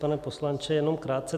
Pane poslanče, jenom krátce.